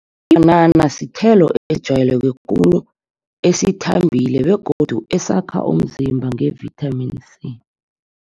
Ibhanana sithelo esijwayeleke khulu, esithambileko begodu esakha umzimba nge-vitamin C.